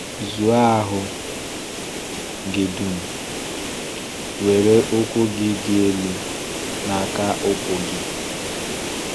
Zụọ ahụ gị dum, were ụkwụ gị dị elu n’aka ụkwụ gị.